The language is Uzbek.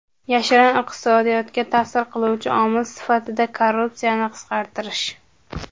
Yashirin iqtisodiyotga ta’sir qiluvchi omil sifatida korrupsiyani qisqartirish.